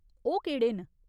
ओह् केह्ड़े न ?